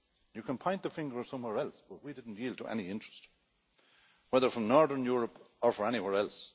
You can point the finger somewhere else we didn't yield to any interest, whether from northern Europe or from anywhere else.